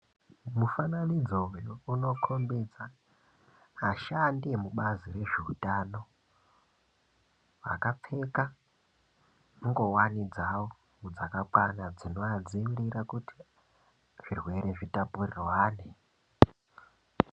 Mufananidzo uyu unokombidza ashandi emubazi rezveutano vakapfeka ngowani dzao dzakakwana dzinoadzimbira kuti zvirwere zvitapurirwane.